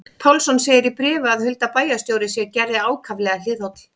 Pálsson segir í bréfi að Hulda bæjarstjóri sé Gerði ákaflega hliðholl.